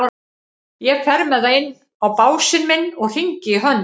Ég fer með það inn á básinn minn og hringi í Hönnu.